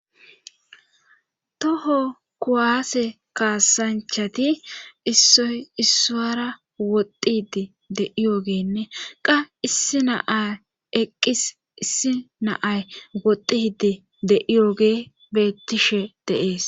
Toho kuwaase kaasanchati issoy issaara woxxidi de iyoogeenne qa issi naay eqqis issi naay wodidi de'iyoogee bettishe deees